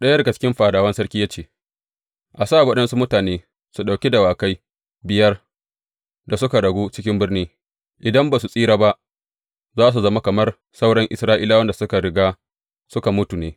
Ɗaya daga cikin fadawan sarki ya ce, A sa waɗansu mutane su ɗauki dawakai biyar da suka ragu cikin birni, idan ba su tsira ba, za su zama kamar sauran Isra’ilawan da suka riga suka mutu ne.